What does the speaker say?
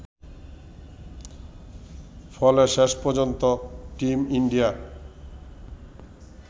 ফলে শেষ পর্যন্ত টিম ইন্ডিয়া